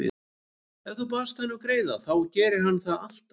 Ef þú baðst hann um greiða þá gerði hann það alltaf.